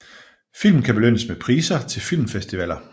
Film kan belønnes med priser til filmfestivaler